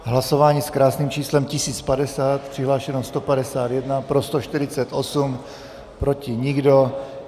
Hlasování s krásným číslem 1050, přihlášeno 151, pro 148, proti nikdo.